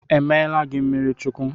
Emeela gị mmiri Chukwu?